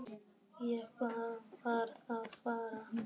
Ég bara varð að fara.